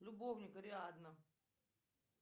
любовник ариадна